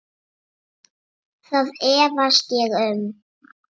Það efast ég um.